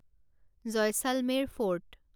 Jaisalmer fort